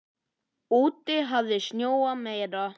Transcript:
Úti hafði snjóað meira.